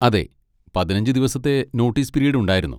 അതെ, പതിനഞ്ച് ദിവസത്തെ നോട്ടീസ് പിരീഡ് ഉണ്ടായിരുന്നു.